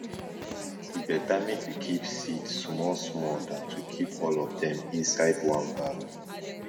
e better make you keep seed small small than to keep all of dem for inside one bag